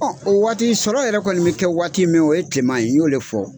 Ɔn, o waati sɔrɔ yɛrɛ kɔni be kɛ waati min o ye kileman ye , n y'o de fɔ.